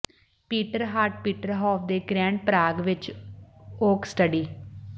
Peter ਹਾਟ Peter ਹਾਫ ਦੇ ਗ੍ਰੈਂਡ ਪਰਾਗ ਵਿਚ ਓਕ ਸਟੱਡੀ